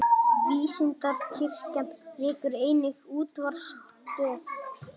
Vísindakirkjan rekur einnig útvarpsstöð.